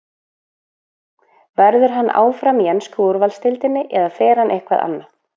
Verður hann áfram í ensku úrvalsdeildinni eða fer hann eitthvert annað?